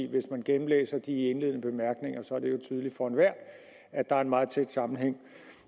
hvis man gennemlæser de indledende bemærkninger ser det er tydeligt for enhver at der er en meget tæt sammenhæng